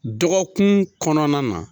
Dɔgɔkun kɔnɔna na.